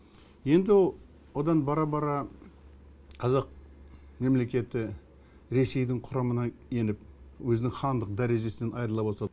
енді одан бара бара қазақ мемлекеті ресейдің құрамына еніп өзінің хандық дәрежесінен айырыла бастады